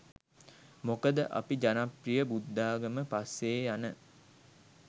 මොකද අපි ජනප්‍රිය බුද්ධාගම පස්සේ යන